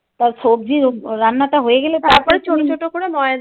তার সবজির রান্নাটা হয়ে গেলে তারপরে